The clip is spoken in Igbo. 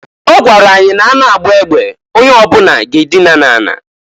Ọ gwara anyị na- a na agba egbe, onye ọbuna ga-adịna na ala.